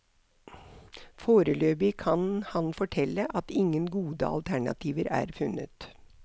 Foreløpig kan han fortelle at ingen gode alternativer er funnet.